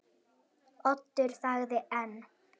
Oddur þagði enn.